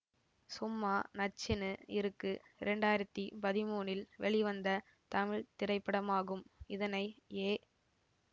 சும்மா நச்சுன்னு இருக்கு இரண்டாயிரத்தி பதிமூனில் வெளிவந்த தமிழ் திரைப்படமாகும் இதனை ஏ